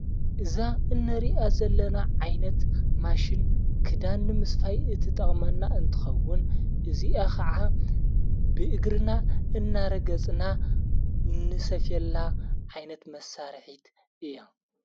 እዛ እነሪኣ ዘለና ዓይነት ማሽን ክዳን ምስፋይ እቲ ጠቕመና እንትኸውን እዚኣ ኸዓ ብእግርና እናረገጽና ንሰፍየላ ዓይነት መሣርሒት እያ።